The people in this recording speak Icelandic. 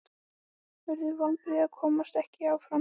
Yrðu vonbrigði að komast ekki áfram?